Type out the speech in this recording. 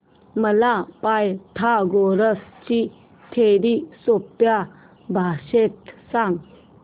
मला पायथागोरस ची थिअरी सोप्या भाषेत सांग